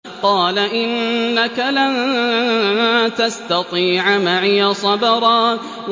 قَالَ إِنَّكَ لَن تَسْتَطِيعَ مَعِيَ صَبْرًا